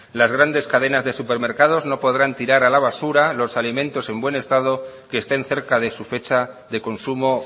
las grandes cadenas de supermercados no podrán tirar a la basura los alimentos en buen estado que estén cerca de su fecha de consumo